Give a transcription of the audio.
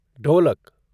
ढोलक